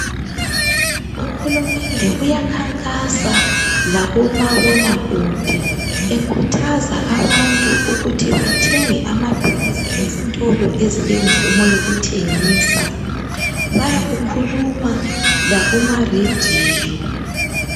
Uhulumende uyakhankasa lakumabonakude ekhuthaza abantu ukuthi bathenge amaphilisi ezitolo ezimvumo yokuthengisa .Bayakukhuluma lakuma radio .